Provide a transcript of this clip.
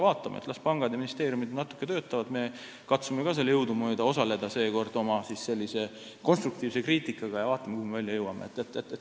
Aga las pangad ja ministeeriumid natuke töötavad, me katsume ka seekord jõudumööda osaleda oma konstruktiivse kriitikaga, eks siis vaatame, kuhu me välja jõuame.